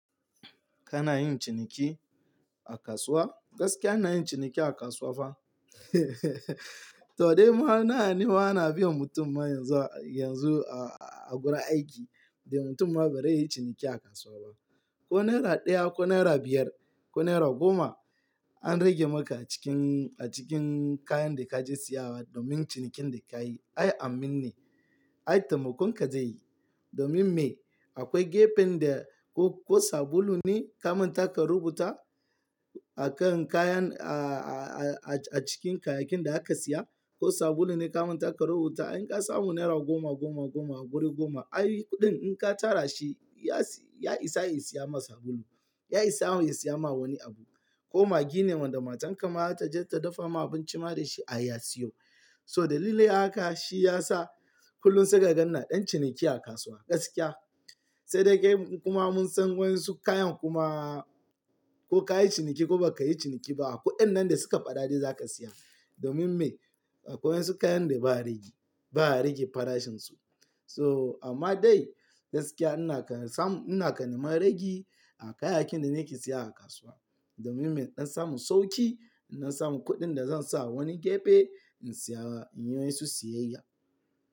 Kana yin ciniki a kasuwa? Gaskiya ina yin ciniki a kasuwa fah, to dai ma nawa ne ana biyan mutum ma yanzu a gurin aiki Ya mutum ma bazai yi ciniki a kasuwa ba. Ko naira ɗaya ko naira biyar ko naira goma. An rage maka a cikin kayan da kaje siyawa domin cinikin da kayi ai amin ne. Ai taimakon ka zai yi domin me? Akwai gefen da ko sabulu ne kamanta ka rubuta. Akan kayan a cikin kayakin da aka siya ko sabulu ne kamanta ka rubuta in ka samu naira goma, goma, goma a wuri goma ai kuɗin in ka tara shi. Ya isa ya siya ma sabulu. Ya isa ya siya ma wani abu ko maggi ne wanda matan ka ma ta je ta dafa ma abinci ma da shi ai ya siyo. So dalili haka shi yasa kullum sai ka ga ina ɗan ciniki a kasuwa gaskiya. Sai dai gaimu kuma mun san wasu kayan kuma ko ka yi ciniki ko baka yi ciniki ba, kuɗin nan da suka faɗa za ka siya. Domin me? Akwai wasu kayan da ba a rage farashin su. So amma dai gaskiya ina kan samu, ina neman rage a kayayyakin da nake siya a kasuwa. Domin me? Dan samun sauki, don samun kuɗin da zan sa a wani gefe in siya in yi wasu siyayya.